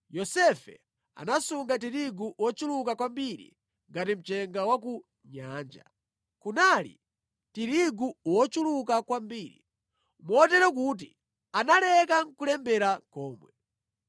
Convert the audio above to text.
Yosefe anasunga tirigu wochuluka kwambiri ngati mchenga wa ku nyanja. Kunali tirigu wochuluka kwambiri motero kuti analeka nʼkulembera komwe.